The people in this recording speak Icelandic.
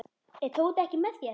Er Tóti ekki með þér?